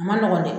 A ma nɔgɔn dɛ